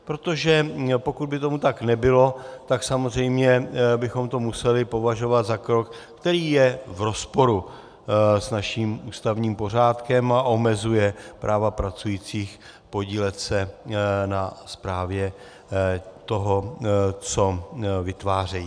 Protože pokud by tomu tak nebylo, tak samozřejmě bychom to museli považovat za krok, který je v rozporu s naším ústavním pořádkem a omezuje práva pracujících podílet se na správě toho, co vytvářejí.